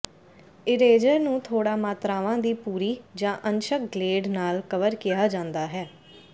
eraser ਨੂੰ ਥੋੜਾ ਮਾਤਰਾਵਾਂ ਦੀ ਪੂਰੀ ਜਾਂ ਅੰਸ਼ਕ ਗਲੇਡ ਨਾਲ ਕਵਰ ਕਿਹਾ ਜਾਂਦਾ ਹੈ